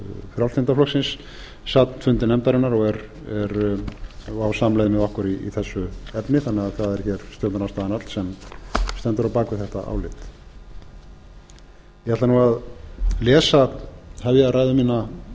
frjálslynda flokksins sat fundi nefndarinnar og á samleið með okkur í þessu efni þannig að það er hér stjórnarandstaðan öll sem stendur á bak við þetta álit ég ætla nú að hefja ræðu mína